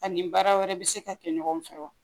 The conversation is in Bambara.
A ni baara wɛrɛ bi se ka kɛ ɲɔgɔn fɛ wa